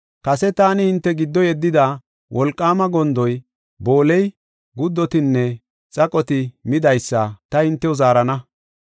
Kase taani hinte giddo yeddida, wolqaama gondoy, booley, guddotinne xaqoti midaysa, ta hintew zaarana.